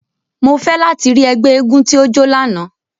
Mo fẹ lati ri ẹgbẹ éégún ti o jo làná!